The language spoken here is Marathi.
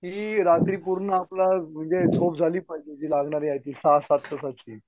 की रात्री पूर्ण आपला म्हणजे झोप झाली पाहिजे जी लागणारी आहे ती सहा सात तास.